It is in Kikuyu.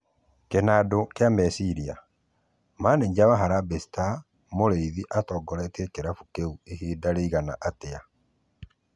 Kĩnandũ kĩa mecĩrĩa: Mananja wa Harambee star, Mũrĩĩthĩ atongoretĩe kĩrabũ kĩũ ĩhĩnda rĩigana atĩa?